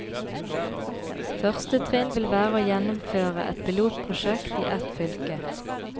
Første trinn vil være å gjennomføre et pilotprosjekt i ett fylke.